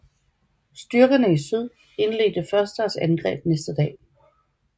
Styrkerne i syd indledte først deres angreb næste dag